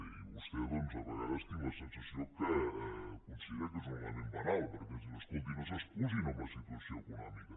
i vostè a vegades tinc la sensació que considera que és un element banal perquè ens diu escolti no s’excusi en la situació econòmica